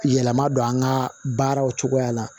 Yɛlɛma don an ka baaraw cogoya la